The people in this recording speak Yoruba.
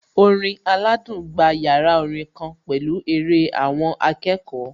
Orin aládùn gba yàrá orin kan pẹ̀lú eré àwọn akẹ́kọ̀ọ́